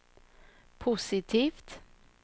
positivt